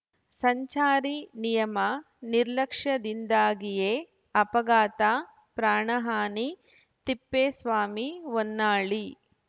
ಸಂಚಾರಿ ನಿಯಮ ನಿರ್ಲಕ್ಷ್ಯದಿಂದಾಗಿಯೇ ಅಪಘಾತ ಪ್ರಾಣಹಾನಿ ತಿಪ್ಪೇಸ್ವಾಮಿ ಹೊನ್ನಾಳಿ